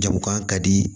Jagokan ka di